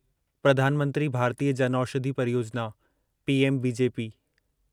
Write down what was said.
प्रधान मंत्री भारतीय जनऔषधि परियोजना' पीएमबीजेपी